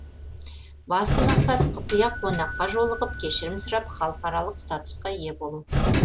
басты мақсат құпия қонаққа жолығып кешірім сұрап халықаралық статусқа ие болу